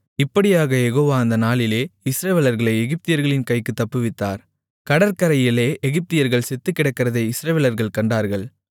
இப்படியாகக் யெகோவா அந்த நாளிலே இஸ்ரவேலர்களை எகிப்தியர்களின் கைக்குத் தப்புவித்தார் கடற்கரையிலே எகிப்தியர்கள் செத்துக்கிடக்கிறதை இஸ்ரவேலர்கள் கண்டார்கள்